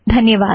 धन्यवाद